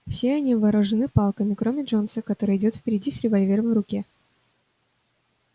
все они вооружены палками кроме джонса который идёт впереди с револьвером в руке